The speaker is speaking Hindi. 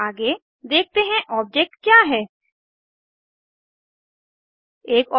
आगे देखते हैं ऑब्जेक्ट क्या है160